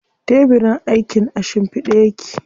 Tebirin aikin a shimfiɗe yake.